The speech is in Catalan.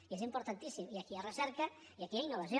i és importantíssim i aquí hi ha recerca i aquí hi ha innovació